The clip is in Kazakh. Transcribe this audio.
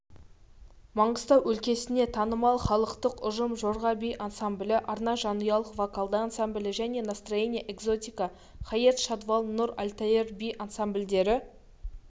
маңғыстау өлкесіне танымал халықтық ұжым жорға би ансамблі арна жанұялық вокалды ансамблі және настроение экзотика хает шадвал нур альтаир би ансамбльдері